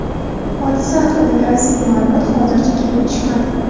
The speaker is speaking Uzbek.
Hodisa haqidagi rasmiy ma’lumot hozircha kelib tushmadi.